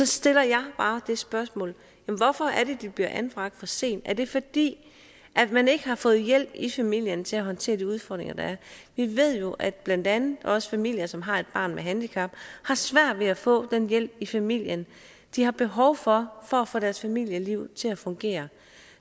stiller jeg bare det spørgsmål hvorfor er det de bliver anbragt for sent er det fordi man ikke har fået hjælp i familien til at håndtere de udfordringer der er vi ved jo at blandt andet også familier som har et barn med handicap har svært ved at få den hjælp i familien de har behov for for at få deres familieliv til at fungere